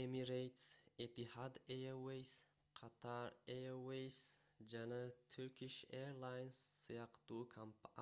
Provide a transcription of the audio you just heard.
emirates etihad airways qatar airways жана turkish airlines сыяктуу